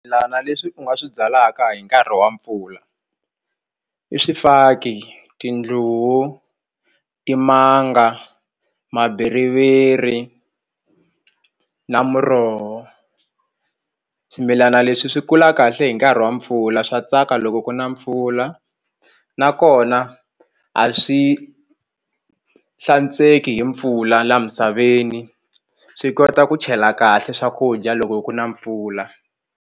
Swimilana leswi u nga swi byalaka hi nkarhi wa mpfula i swifaki tindluwu timanga mabiriviri na muroho swimilana leswi swi kula kahle hi nkarhi wa mpfula swa tsaka loko ku na mpfula nakona a swi hlantsweki hi mpfula laha misaveni swi kota ku chela kahle swakudya loko ku na mpfula.